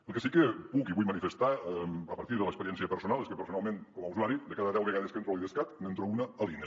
el que sí que puc i vull manifestar a partir de l’experiència personal és que personalment com a usuari de cada deu vegades que entro a l’idescat n’entro una a l’ine